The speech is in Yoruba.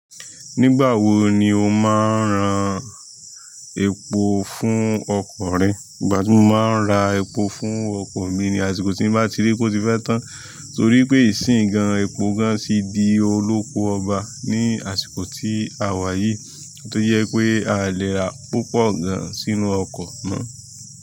Nígbà wo ni o máa ń ran epo fún ọkọ̀ rẹ? Ìgbà tí mo máa ń ra epo fún ọkọ̀ mi ni àsìkò tí mo bá ti rí pé ó ti fẹ́ tán, torí pé ìsìn gan-an epo gan-an sì di olóko ọba ní àsìkò tí a wà yìí, tó jẹ pé a lè ra púpọ̀ gan-an sínú ọkọ̀ mọ.